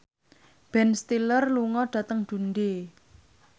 Ben Stiller lunga dhateng Dundee